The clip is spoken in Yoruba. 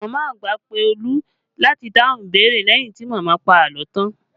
Màmá àgbà pé Olu láti dáhùn ìbéèrè leyin ti màmá pa àlọ́ tan